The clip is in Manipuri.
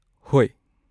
ꯍꯣꯏ꯫